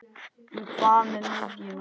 En hvað með miðjuna?